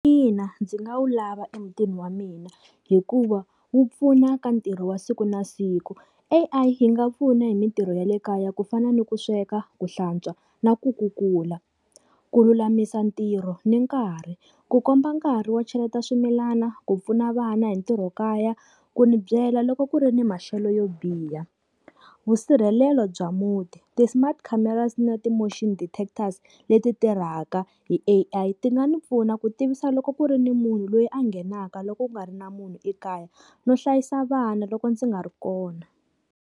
Ina ndzi nga wu lava emutini wa mina, hikuva wu pfuna ka ntirho wa siku na siku. A_I yi nga pfuna hi mintirho ya le kaya ku fana ni ku sweka, ku hlantswa na ku kukula. Ku lulamisa ntirho ni nkarhi, ku komba nkarhi wo cheleta swimilana, ku pfuna vana hi ntirhokaya, ku ni byela loko ku ri ni maxelo yo biha. Vusirhelelo bya muti, ti-smart cameras na ti-motion detectors leti tirhaka hi A_I ti nga ni pfuna ku tivisa loko ku ri ni munhu loyi a nghenaka loko ku nga ri na munhu ekaya, no hlayisa vana loko ndzi nga ri kona.